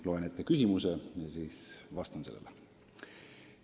Loen ette küsimuse ja siis vastan sellele.